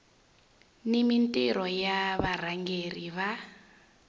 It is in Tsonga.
ni mintirho ya varhangeri va